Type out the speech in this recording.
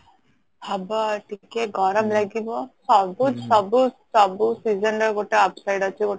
ହବ ଟିକେ ଗରମ ଲାଗିବ ସବୁ ସବୁ ସବୁ season ରେ ଗୋଟେ upseଡ ଅଛି